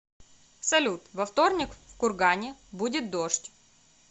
салют во вторник в кургане будет дождь